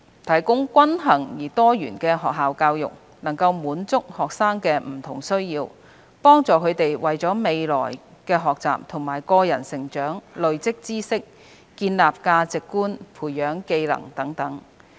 提供均衡而多元化的學校教育，能滿足學生的不同需要，幫助他們為了未來的學習和個人成長累積知識、建立價值觀、培養技能等。